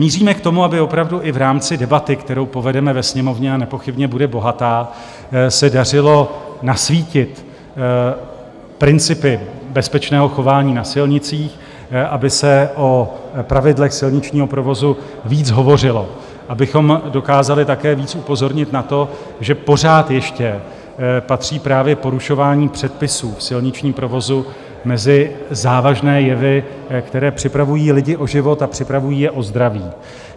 Míříme k tomu, aby opravdu i v rámci debaty, kterou povedeme ve Sněmovně, a nepochybně bude bohatá, se dařilo nasvítit principy bezpečného chování na silnicích, aby se o pravidlech silničního provozu víc hovořilo, abychom dokázali také víc upozornit na to, že pořád ještě patří právě porušování předpisů v silničním provozu mezi závažné jevy, které připravují lidi o život a připravují je o zdraví.